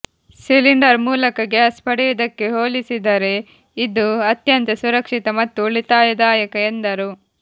cylinder ಮೂಲಕ gas ಪಡೆಯುವುದಕ್ಕೆ ಹೋಲಿಸಿದರೆ ಇದು ಅತ್ಯಂತ ಸುರಕ್ಷಿತ ಮತ್ತು ಉಳಿತಾಯದಾಯಕ ಎಂದರು